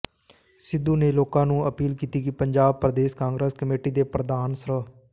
ਸਿੱਧੂ ਨੇ ਲੋਕਾਂ ਨੂੰ ਅਪੀਲ ਕੀਤੀ ਕਿ ਪੰਜਾਬ ਪ੍ਰਦੇਸ਼ ਕਾਂਗਰਸ ਕਮੇਟੀ ਦੇ ਪ੍ਰਧਾਨ ਸ੍ਰ